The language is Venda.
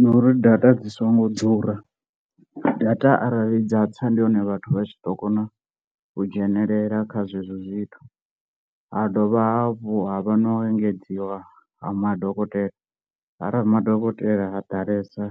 Na uri data dzi songo ḓura, data arali dza tsa ndi hone vhathu vha tshi ḓo kona u dzhenelela kha zwezwo zwithu, ha dovha hafhu havha no engedziwa ha madokotela, arali madokotela ha ḓalesa